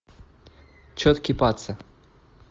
четкий паца